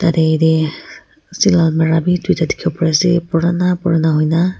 yatey dey steel almirah bi duita dikhiwo pai ase purana purana huina.